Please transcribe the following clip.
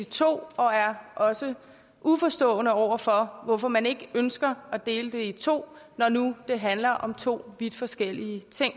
i to og er også uforstående over for hvorfor man ikke ønsker at dele det i to når nu det handler om to vidt forskellige ting